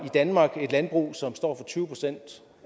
i danmark et landbrug som står for tyve procent